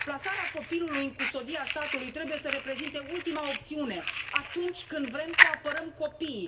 Plasarea copilului în custodia statului trebuie să reprezinte ultima opțiune atunci când vrem să apărăm copiii.